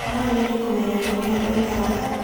No nyende kũmenya kũrĩa ũikaraga.